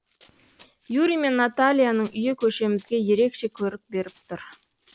юрий мен натальяның үйі көшемізге ерекше көрік беріп тұр